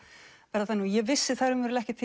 verða þannig ég vissi það raunverulega ekkert